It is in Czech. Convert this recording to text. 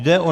Jde o